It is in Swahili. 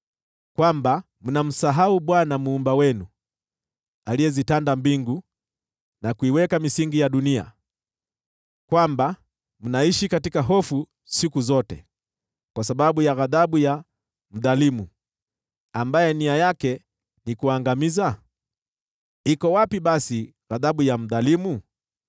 kwamba mnamsahau Bwana Muumba wenu, aliyezitanda mbingu na kuiweka misingi ya dunia, kwamba mnaishi katika hofu siku zote kwa sababu ya ghadhabu ya mdhalimu, ambaye nia yake ni kuangamiza? Iko wapi basi ghadhabu ya mdhalimu?